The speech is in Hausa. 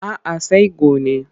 A'a sai gone.